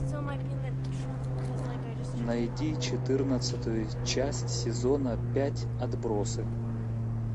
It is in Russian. найди четырнадцатую часть сезона пять отбросы